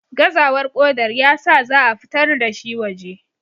gazawar kodar ya sa za a fitar da shi waje